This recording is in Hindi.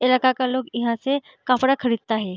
इलाका का लोग यहाँ से कपड़ा खरीदता हैं।